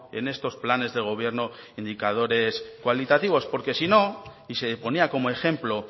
en estos planes de gobierno indicadores cualitativos porque si no y se ponía como ejemplo